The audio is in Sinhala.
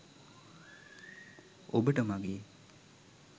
ඔබට මගේ